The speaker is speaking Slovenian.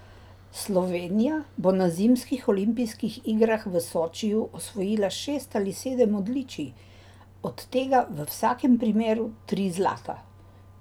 Slovenija bo na zimskih olimpijskih igrah v Sočiju osvojila šest ali sedem odličij, od tega v vsakem primeru tri zlata!